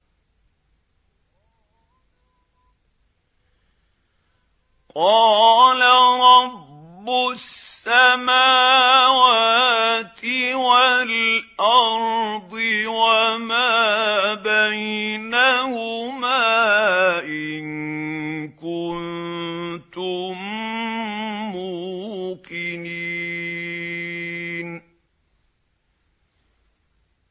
قَالَ رَبُّ السَّمَاوَاتِ وَالْأَرْضِ وَمَا بَيْنَهُمَا ۖ إِن كُنتُم مُّوقِنِينَ